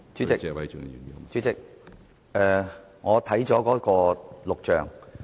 主席，我已翻看錄像。